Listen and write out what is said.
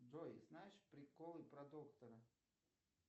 джой знаешь приколы про доктора